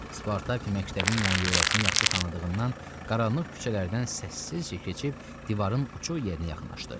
Spartak məktəbin yan-yörəsini yaxşı tanıdığından qaranlıq küçələrdən səssizcə keçib divarın uçuq yerinə yaxınlaşdı.